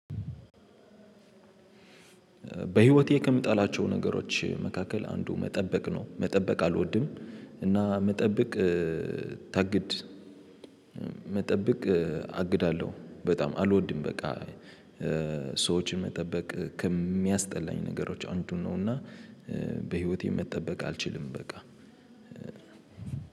በህይወቴ ከምጣላቸው ነገሮች መካከል አንዱ መጠበቅ ነው መጠበቅ አልወድም። እና መጠበቅ ታግድ መጠበቅ አግዳለሁ በጣም አልወድም በቃ። ሰዎችን መጠበቅ ከሚያስጠላኝ ነገሮች አንዱን ነው። እና በህይወቴ መጠበቅ አልችልም። በቃ